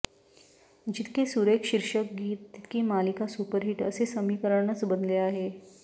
जितके सुरेख शिर्षक गीत तितकी मालिका सुपरहिट असे समीकरणच बनले आहे